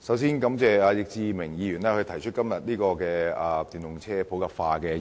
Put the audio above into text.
首先感謝易志明議員今天提出"推動電動車普及化"的議案。